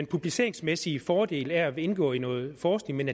publiceringsmæssige fordel af at indgå i noget forskning men